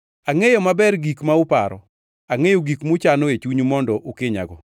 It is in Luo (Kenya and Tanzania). “Angʼeyo maber gik ma uparo, angʼeyo gik muchano e chunyu mondo ukinyago.